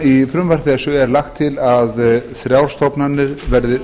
í frumvarpi þessu er lagt til að þrjár stofnanir verði